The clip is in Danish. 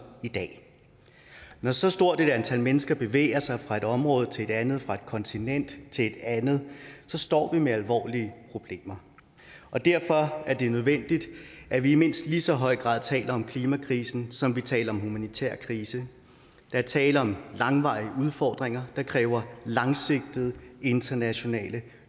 i dag når så stort et antal mennesker bevæger sig fra et område til et andet fra et kontinent til et andet står vi med alvorlige problemer derfor er det nødvendigt at vi i mindst lige så høj grad taler om klimakrisen som vi taler om en humanitær krise der er tale om langvarige udfordringer der kræver langsigtede internationale